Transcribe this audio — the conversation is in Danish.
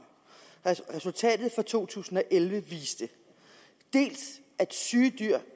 resultatet for to tusind og elleve viste dels at syge dyr